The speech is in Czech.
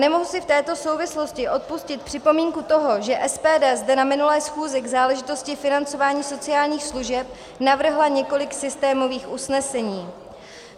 Nemohu si v této souvislosti odpustit připomínku toho, že SPD zde na minulé schůzi k záležitosti financování sociálních služeb navrhla několik systémových usnesení.